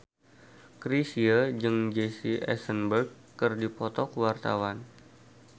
Chrisye jeung Jesse Eisenberg keur dipoto ku wartawan